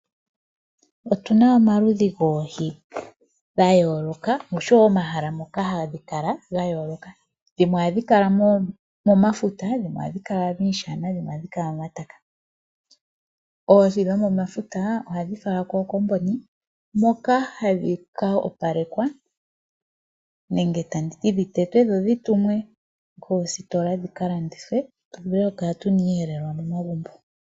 Otu na omaludhi goohi ga yooloka nosho wo momahala moka hadhi kala ga yooloka. Dhimwe ohadhi kala momafuta, dhimwe ohadhi kala miishana, dhimwe ohadhi kala momataka. Oohi dhomomafuta ohadhi falwa moofaabulika, moka hadhi ka opalekwa nenge dhi tetwe dho dhi falwe koositola dhi ka landithwe tu vule okukala tu na iiyelelwa momagumbo.